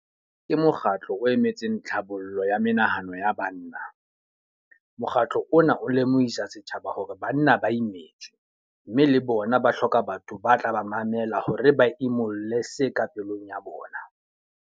Ke mokgatlo o emetseng tlhabollo ya menahano ya banna. Mokgatlo ona o lemohisa setjhaba hore banna ba imetswe, mme le bona ba hloka batho ba tla ba mamela hore ba imolle se ka pelong ya bona.